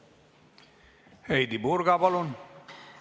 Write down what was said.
Heidy Purga, palun!